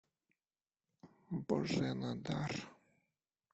божена дар